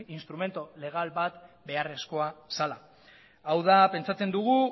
instrumentu legal bat beharrezkoa zela hau da pentsatzen duguna